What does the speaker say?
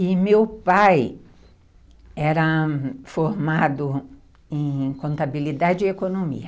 E meu pai era formado em contabilidade e economia.